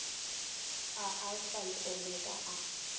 a alfa le omega a